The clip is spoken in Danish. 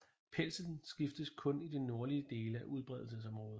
Pelsen skiftes kun i de nordlige dele af udbredelsesområdet